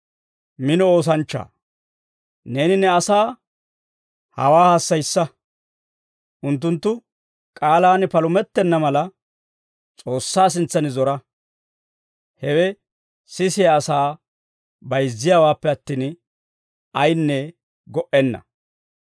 Neeni ne asaa hawaa hassayissa; unttunttu k'aalaan palumettenna mala, S'oossaa sintsan zora. Hewe sisiyaa asaa bayizziyaawaappe attin, ayinne go"enna.